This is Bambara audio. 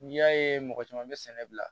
N'i y'a ye mɔgɔ caman bɛ sɛnɛ bila